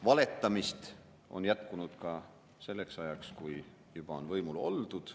Valetamist on jätkunud ka selleks ajaks, kui juba on võimul oldud.